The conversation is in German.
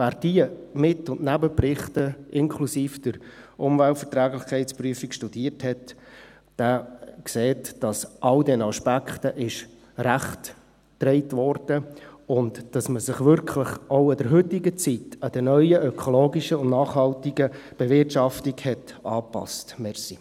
Wer diese Mit- und Nebenberichte inklusive der Umweltverträglichkeitsprüfung studiert hat, sieht, dass all diesen Aspekten Rechnung getragen wurde und dass man sich in der heutigen Zeit wirklich an die neue ökologische und nachhaltige Bewirtschaftung angepasst hat.